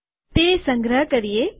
તે સંગ્રહ કરીએ